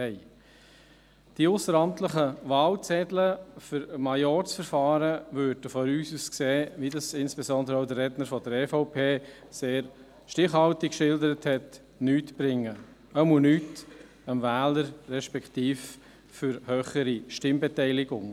Wie dies insbesondere auch der Redner der EVP sehr stichhaltig geschildert hat, brächten die ausseramtlichen Wahlzettel für Majorzverfahren auch aus unserer Sicht nichts, jedenfalls nicht für den Wähler, respektive für eine höhere Stimmbeteiligung.